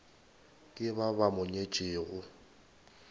ke ba ba mo nyetšego